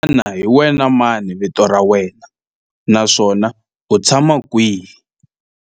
Xana hi wena mani vito ra wena naswona u tshama kwihi?